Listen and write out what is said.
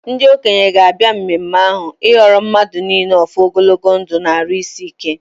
Ndị okenye ga-abịa mmemme ahụ ịgọọrọ mmadụ niile ọfọ ogologo ndụ na-arụ isi ike.